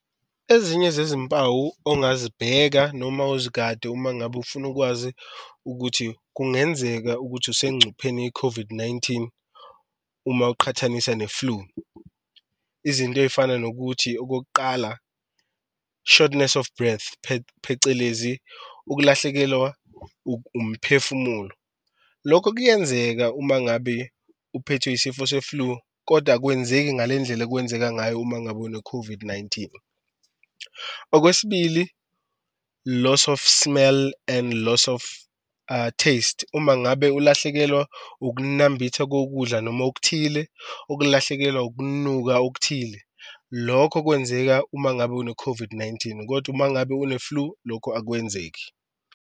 Ezinye zezimpawu ongazibheka noma uzigade uma ngabe ufuna ukwazi ukuthi kungenzeka ukuthi usencupheni ye-COVID-19 uma uqhathanisa ne-flu. Izinto ey'fana nokuthi okokuqala short of breath phecelezi ukulahlekelwa umphefumulo, lokho kuyenzeka uma ngabe uphethwe isifo se-flu koda akwenzeki ngalendlela okwenzeka ngayo uma ngabe une-COVID-19. Okwesibili loss of smell and loss of taste, uma ngabe ulahlekelwa ukunambitha kokudla noma okuthile, okulahlekelwa ukunuka okuthile lokho okwenzeka uma ngabe une-COVID-19, kodwa uma ngabe une-flu lokhu akwenzeki.